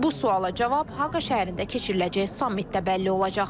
Bu suala cavab Haqa şəhərində keçiriləcək sammitdə bəlli olacaq.